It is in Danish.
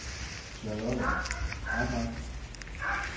Charlotte Ahmad